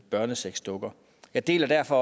børnesexdukker jeg deler derfor